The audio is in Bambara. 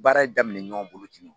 Baara in daminɛ ɲɔgɔn bolo ten nɔn